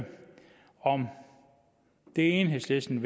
om det enhedslisten